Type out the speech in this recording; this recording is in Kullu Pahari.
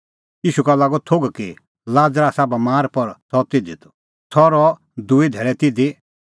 ईशू का लागअ थोघ कि लाज़र आसा बमार पर सह ज़िधी त सह रहअ दूई धैल़ै तिधी